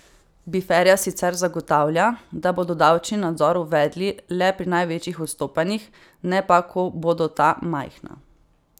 Befera sicer zagotavlja, da bodo davčni nadzor uvedli le pri največjih odstopanjih, ne pa, ko bodo ta majhna.